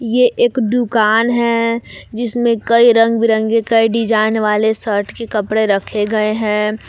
ये एक दुकान है जिसमें कई रंग बिरंगे कई डिजाइन वाले शर्ट के कपड़े रखे गए है।